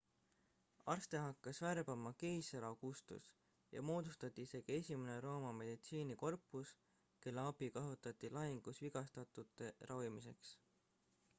arste hakkas värbama keiser augustus ja moodustati isegi esimene rooma meditsiinikorpus kelle abi kasutati lahingus vigastatute ravimiseks